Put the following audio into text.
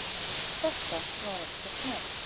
Þetta var ekkert mál.